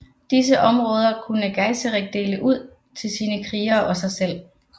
Disse områder kunne Geiserik dele ud til sine krigere og sig selv